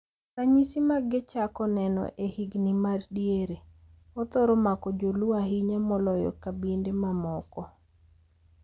Ranyisi mage chako neno e higni madiere, othoro mako joluo ahinya moloyo kabinde mamoko.